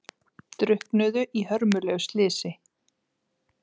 Drukknuðu í hörmulegu slysi